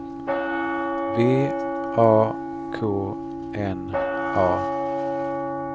V A K N A